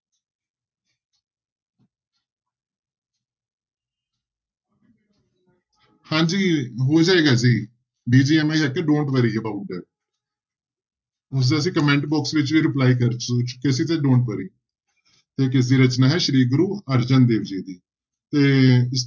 ਹਾਂਜੀ ਹੋ ਜਾਏਗਾ ਜੀ don't worry about that ਉਸਦਾ ਅਸੀਂ comment box ਵਿੱਚ ਵੀ reply ਕਰ ਚੁ ਚੁੱਕੇ ਸੀ ਤੇ don't worry ਤੇ ਕਿਸਦੀ ਰਚਨਾ ਹੈ ਸ੍ਰੀ ਗੁਰੂ ਅਰਜਨ ਦੇਵ ਜੀ ਦੀ ਤੇ